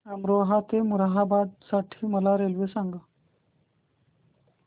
अमरोहा ते मुरादाबाद साठी मला रेल्वे सांगा